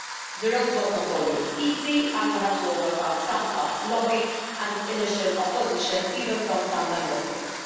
The road was not always easy and we had to overcome some tough lobbying and initial opposition, even from some Member States.